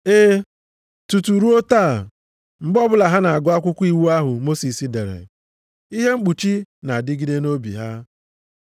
Ee, tutu ruo taa, mgbe ọbụla ha na-agụ akwụkwọ iwu ahụ Mosis dere, ihe mkpuchi na-adịgide nʼobi ha.